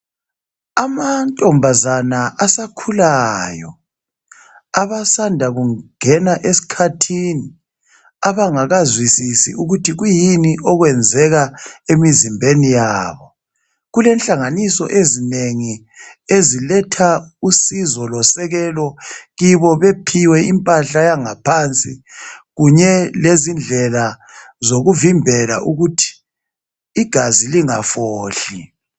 Amantombazana asakhulayo abasanda kungena esikhathini Abangakazwisisi ukuthi kwiyini okwenzeka emizimbeni yabo kulenhlanganiso ezinengi eziletha usizo losekelo kibo bephiwe impahla yangaphansi kunye lezindlela zokuvimbela ukuthi igazi lingafohli